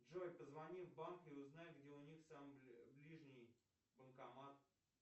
джой позвони в банк и узнай где у них самый ближний банкомат